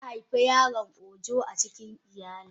Zaa haifa yaron ojo acikin iyalin.